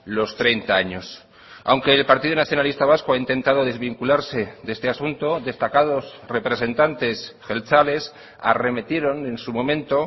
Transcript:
los treinta años aunque el partido nacionalista vasco ha intentado desvincularse de este asunto destacados representantes jeltzales arremetieron en su momento